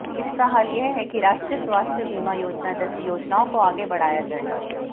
इसका हल यह है कि राष्ट्रीय स्वास्थ्य बीमा योजना जैसी योजनाओं को आगे बढ़ाया जाए